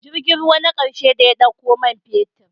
Jirgin ruwa na ƙarshe da ya ɗauko man fetur